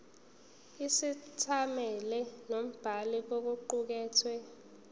isethameli nombhali kokuqukethwe